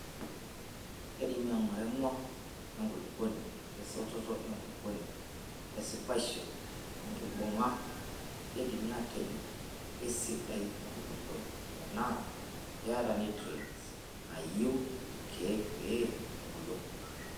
Keidim aing'ura emwa enkulupuoni ,esototo enkulupuoni wesipaisho(enkibung'a).Keidimi atejo keisidai enkulupuoni tenaa keata nutrient nayieu irkiek peyie ebulu.